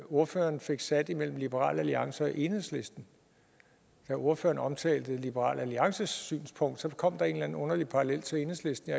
ordføreren fik sat mellem liberal alliance og enhedslisten da ordføreren omtalte liberal alliances synspunkt kom der en eller anden underlig parallel til enhedslisten